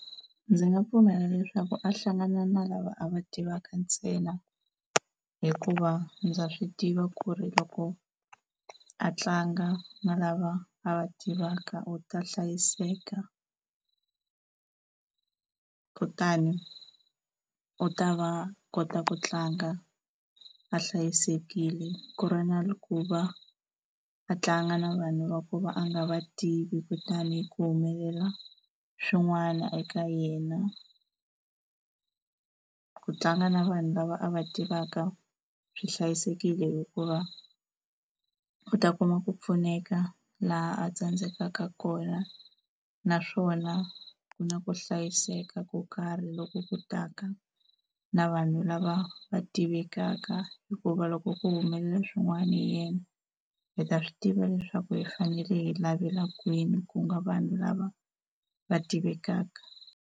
Ndzi nga pfumela leswaku a hlangana na lava a va tivaka ntsena hikuva ndza swi tiva ku ri loko a tlanga na lava a va tivaka u ta hlayiseka, kutani u ta va a kota ku tlanga a hlayisekile ku ri na ku va a tlanga na vanhu va ku va a nga va tivi kutani ku humelela swin'wana eka yena. Ku tlanga na vanhu lava a va tivaka swi hlayisekile hikuva u ta kuma ku pfuneka laha a tsandzekaka kona, naswona ku na ku hlayiseka ko karhi loko ku taka na vanhu lava va tivekaka hikuva loko ku humelela swin'wana hi yena hi ta swi tiva leswaku hi fanele hi lavela kwini ku nga vanhu lava va tivekaka.